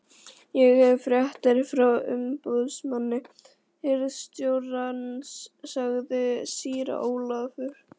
Ég hef fréttir frá umboðsmanni hirðstjórans, sagði síra Ólafur.